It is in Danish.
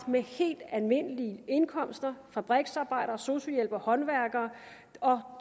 med helt almindelige indkomster altså fabriksarbejdere sosu hjælpere håndværkere og